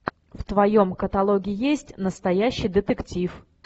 в твоем каталоге есть настоящий детектив